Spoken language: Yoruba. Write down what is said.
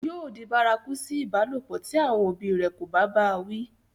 yóò di bárakú sí ìbálòpọ̀ tí àwọn òbí rẹ̀ kò bá bá a wí